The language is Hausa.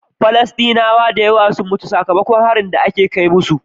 Falastinawa sun dayawa sun mutu saka makon harin da ake kai musu